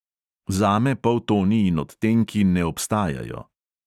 Zame poltoni in odtenki ne obstajajo.